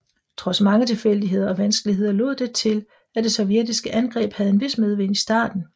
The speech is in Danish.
Trods mange tilfældigheder og vanskeligheder lod det til at det sovjetiske angreb havde en vis medvind i starten